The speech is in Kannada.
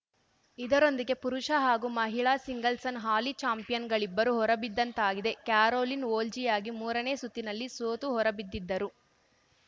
ಇದರೊಂದಿಗೆ ಪುರುಷ ಹಾಗೂ ಮಹಿಳಾ ಸಿಂಗಲ್ಸ್‌ನ ಹಾಲಿ ಚಾಂಪಿಯನ್‌ಗಳಿಬ್ಬರೂ ಹೊರಬಿದ್ದಂತಾಗಿದೆ ಕ್ಯಾರೋಲಿನ್‌ ವೋಜ್ನಿಯಾಗಿ ಮೂರನೇ ಸುತ್ತಿನಲ್ಲಿ ಸೋತು ಹೊರಬಿದ್ದಿದ್ದರು